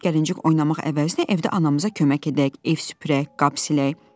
Gəlincik-gəlincik oynamaq əvəzinə evdə anamıza kömək edək, ev süpürək, qab silək.